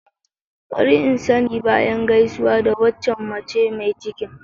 Bari in sani bayan gaisawa da waccan mace mai cikin.